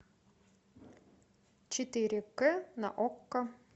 четыре кэ на окко